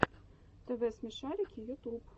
тв смешарики ютуб